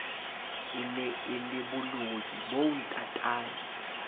e ne e leboloi boontatae